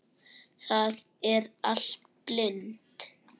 Það er allt blint.